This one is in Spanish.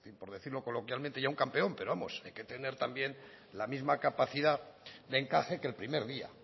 por decirlo coloquialmente un campeón pero vamos hay que tener también la misma capacidad de encaje que el primer día